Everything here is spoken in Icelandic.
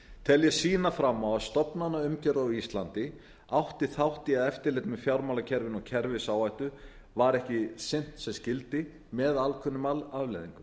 tel ég sýna fram á að stofnanaumgjörð á íslandi átti þátt í að eftirlit með fjármálakerfinu og kerfisáhættu var ekki sinnt sem skyldi með ákveðnum afleiðingum